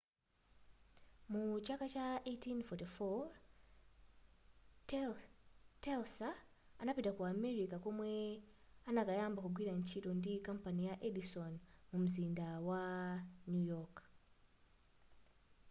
mu chaka cha 1884 telsa anapita ku america komwe anakayamba kugwira ntchito ndi kampani ija ya edison mumzinda wa new york